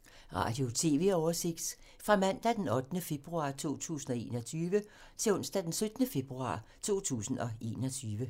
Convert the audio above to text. Radio/TV oversigt fra mandag d. 8. februar 2021 til onsdag d. 17. februar 2021